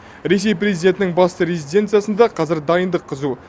ресей президентінің басты резиденциясында қазір дайындық қызу